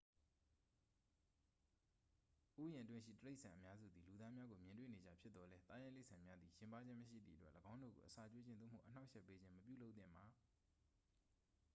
ဥယျာဉ်အတွင်းရှိ တိရိစ္ဆာန်အများစုသည် လူသားများကို မြင်တွေ့နေကျဖြစ်သော်လည်း သားရိုင်းတိရိစ္ဆာန်များသည် ယဉ်ပါးခြင်းမရှိသည့်အတွက် ၎င်းတို့ကို အစာကျွေးခြင်း သို့မဟုတ် အနှောက်အယှက်ပေးခြင်း မပြုလုပ်သင့်ပါ